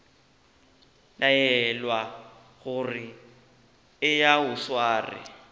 laelwa gore eya o sware